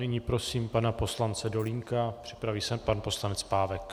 Nyní prosím pana poslance Dolínka, připraví se pan poslanec Pávek.